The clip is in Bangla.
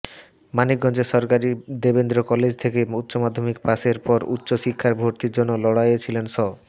মানিকগঞ্জের সরকারি দেবেন্দ্র কলেজ থেকে উচ্চমাধ্যমিক পাসের পর উচ্চ শিক্ষায় ভর্তির জন্য লড়াইয়ে ছিলেন স